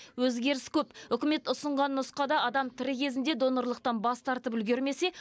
өзгеріс көп үкімет ұсынған нұсқада адам тірі кезінде донорлықтан бас тартып үлгермесе